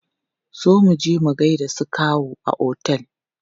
Zo muje mu gaida su kawu a otel!